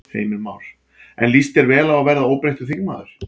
Heimir Már: En líst þér vel á að verða óbreyttur þingmaður?